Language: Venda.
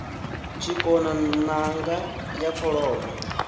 tshikona n anga ya kholomo